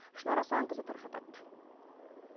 шынар асанқызы тарқатады